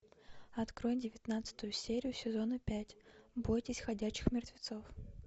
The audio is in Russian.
открой девятнадцатую серию сезона пять бойтесь ходячих мертвецов